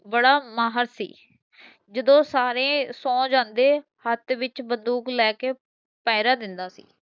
ਬੜਾ ਮਹਰ ਸੀ ਜਦੋ ਸਾਰੇ ਸੋ ਜਾਂਦੇ ਹੱਥ ਵਿੱਚ ਬੰਦੂਕ ਲੈਕੇ ਪਹਿਰਾ ਦਿੰਦਾ ਸੀ